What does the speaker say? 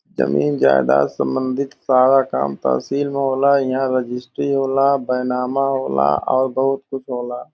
जमीन जायदाद सम्बंधित सारा काम तहसील में होला । यहाँ रेजिस्ट्री होला बैनामा होला और बहुत कुछ होला।